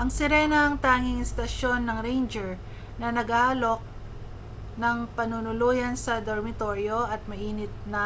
ang sirena ang tanging istasyon ng ranger na nag-aalok ng panunuluyan sa dormitoryo at mainit na